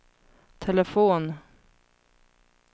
telefon